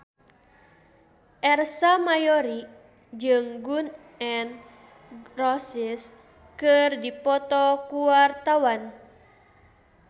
Ersa Mayori jeung Gun N Roses keur dipoto ku wartawan